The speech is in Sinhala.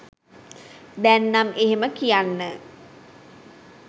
දැන් නම් එහෙම කියන්න